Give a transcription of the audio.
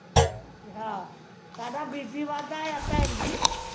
ਹਾ ਸਾਡਾ BP ਵੱਧਦਾ ਆ ਭੈਣ ਜੀ